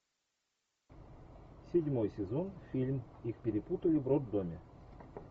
седьмой сезон фильм их перепутали в роддоме